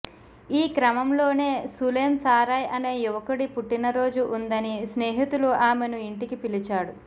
ఈ క్రమంలోనే సులేం సారాయ్ అనే యువకుడి పుట్టినరోజు ఉందని స్నేహితులు ఆమెను ఇంటికి పిలిచాడు